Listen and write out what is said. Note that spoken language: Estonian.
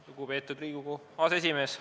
Lugupeetud Riigikogu aseesimees!